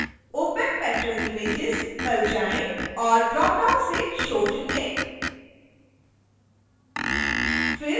फिर opacpatronimages पर जाएँ और ड्रॉपडाउन से show चुनें